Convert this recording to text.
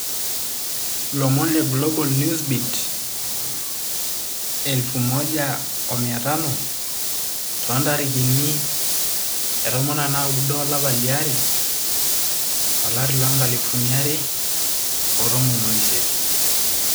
Lomon le Global Newsbeat1500 19/02/2018.